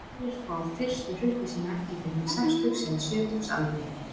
Aðrir fá fyrstu hrukku sína ekki fyrr en á sextugs- eða sjötugsaldri.